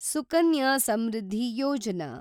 Sukanya Samriddhi Yojana